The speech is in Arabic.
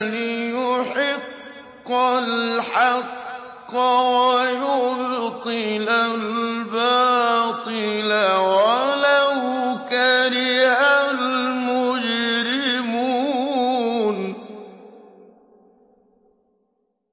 لِيُحِقَّ الْحَقَّ وَيُبْطِلَ الْبَاطِلَ وَلَوْ كَرِهَ الْمُجْرِمُونَ